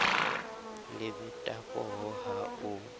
le beta pooho ha o